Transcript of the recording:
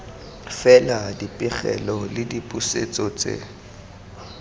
fela dipegelo le dipusetso tse